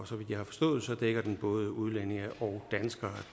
så vidt jeg har forstået dækker den både udlændinge og danskere